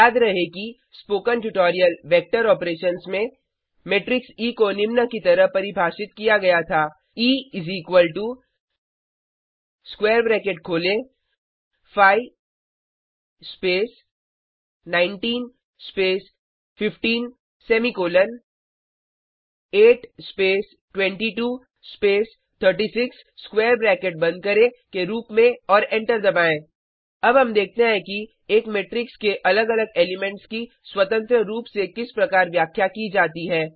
याद रहे कि स्पोकन ट्यूटोरियल वेक्टर ऑपरेशंस में मेट्रिक्स ई को निम्न की तरह परिभाषित किया गया था E is equal to square bracket खोलें 5 स्पेस19 स्पेस15 semicolon 8 space 22 space 36 square bracket बंद करें के रूप में और एंटर दबाएँ अब हम देखते हैं कि एक मेट्रिक्स के अलग अलग एलीमेंट्स की स्वतंत्र रूप से किस प्रकार व्याख्या की जाती है